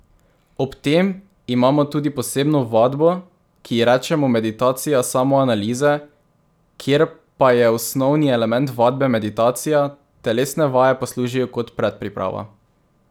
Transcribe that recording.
Ob tem imamo tudi posebno vadbo, ki ji rečemo meditacija samoanalize, kjer pa je osnovni element vadbe meditacija, telesne vaje pa služijo kot predpriprava.